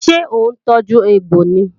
Ṣé òun tọ́jú egbò ni?